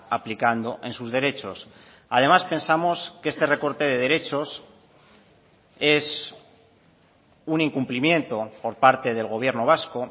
aplicando en sus derechos además pensamos que este recorte de derechos es un incumplimiento por parte del gobierno vasco